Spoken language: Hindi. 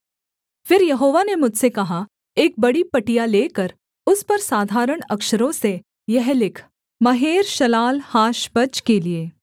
फिर यहोवा ने मुझसे कहा एक बड़ी पटिया लेकर उस पर साधारण अक्षरों से यह लिख महेर्शालाल्हाशबज के लिये